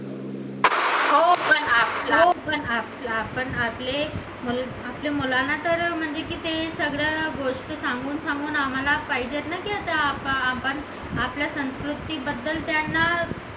हो पण आपण आपले मुलांना तर म्हणजे किती सगळे गोष्ट सांगून सांगून आम्हाला पाहिजे ना की आता आपण त्या संस्कृती बद्दल त्यांना